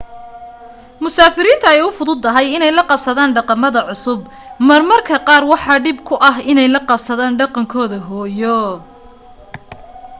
musaafiriinta ay u fududahay in ay la qabsadaan dhaqamada cusub mar marka qaar waxaa dhib ku ah in ay la qabsadaan dhaqankooda hooyo